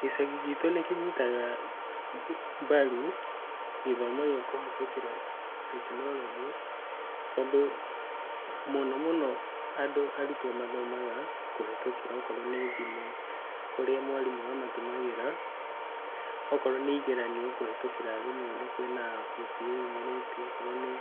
Gĩcagi gitũ nĩkĩnyitaga mbaru gĩthomo gĩa kũhĩtũkĩra tekinoronjĩ. Tondũ mũnono andũ arutwo mathomaga kũhĩtũkĩra okorwo nĩ thimũ. Kũrĩa mwarimũ mamatũmagĩra okorwo nĩ igeranio kũhĩtũkĩra thimũ-inĩ, kwĩna wĩyumĩrĩtie, okorwo nvĩ